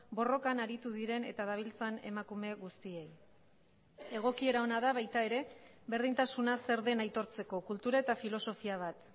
borrokan aritu diren eta dabiltzan emakume guztiei egokiera ona da baita ere berdintasuna zer den aitortzeko kultura eta filosofia bat